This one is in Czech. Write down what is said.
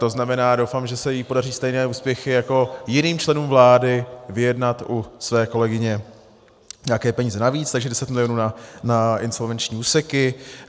To znamená, doufám, že se jí podaří stejné úspěchy jako jiným členům vlády, vyjednat u své kolegyně nějaké peníze navíc, takže 10 mil. na insolvenční úseky.